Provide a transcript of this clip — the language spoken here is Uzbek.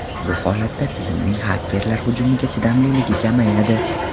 Bu holatda tizimning xakerlar hujumiga chidamliligi kamayadi.